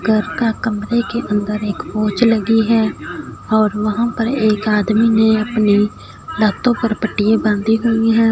घर का कमरे के अंदर एक लगी है और वहाँ पर एक आदमी नें अपनी लातो पर पट्टीयां बाँधी हुई हैं।